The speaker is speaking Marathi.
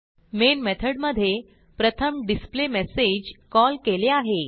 मेन मेथडमधे प्रथम डिस्प्लेमेसेज कॉल केले आहे